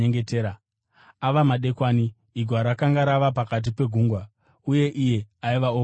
Ava madekwana, igwa rakanga rava pakati pegungwa, uye iye aiva oga kunyika.